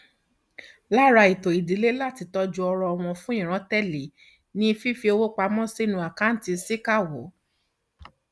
lára ètò ìdílé láti tọjú ọrọ wọn fún ìran tẹlé ni fífi owó pa mọ sínú àkáǹtì síkàáwọ